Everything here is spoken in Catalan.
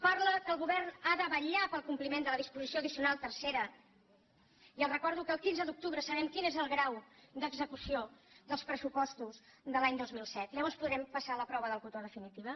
parla que el govern ha de vetllar pel compliment de la disposició addicional tercera i els recordo que el quinze d’octubre sabrem quin és el grau d’execució dels pressupostos de l’any dos mil set llavors podrem passar la prova del cotó definitiva